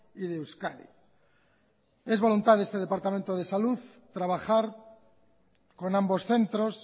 y de euskadi es voluntad de este departamento de salud trabajar con ambos centros